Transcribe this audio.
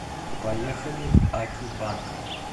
поехали акибанк